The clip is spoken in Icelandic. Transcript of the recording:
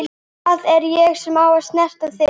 Það er ég sem á að snerta þig.